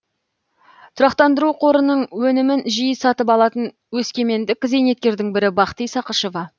тұрақтандыру қорының өнімін жиі сатып алатын өскемендік зейнеткердің бірі бақти сақышева